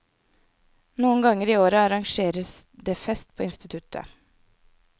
Noen ganger i året arrangeres det fest på instisuttet.